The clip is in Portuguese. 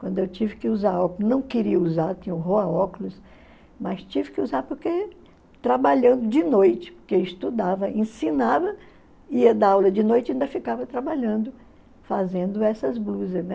Quando eu tive que usar óculos, não queria usar, tinha horror a óculos, mas tive que usar porque trabalhando de noite, porque eu estudava, ensinava, ia dar aula de noite e ainda ficava trabalhando, fazendo essas blusas, né?